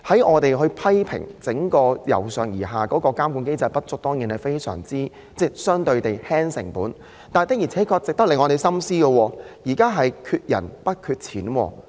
我們批評整個由上而下的監管機制有不足之處——這機制當然可以減輕成本——但有一點確實值得我們深思，便是現在的問題是缺人不缺錢。